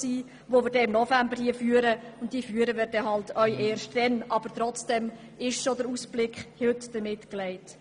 Es könnte im November zu einer regelrechten «Metzgete» kommen.